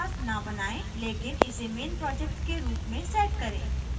main class न बनाएँ लेकिन इसे main project के रूप में set करें